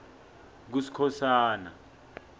kuskhosana